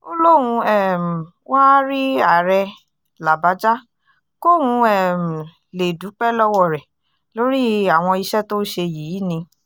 ó lóun um wáá rí ààrẹ làbájá kóun um lè dúpẹ́ lọ́wọ́ rẹ̀ lórí àwọn iṣẹ́ tó ṣe yìí ni